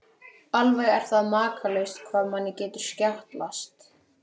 Alveg er það makalaust hvað manni getur skjátlast!